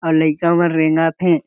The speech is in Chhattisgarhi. अउ लइका मन रेंगत हे।